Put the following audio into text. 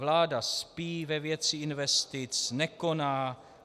Vláda spí ve věci investic, nekoná.